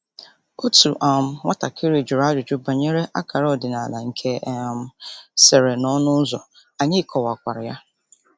Otu um nwatakịrị jụrụ ajụjụ banyere akara ọdịnala nke e um sere n'ọnụ ụzọ, anyị kọwakwara ya.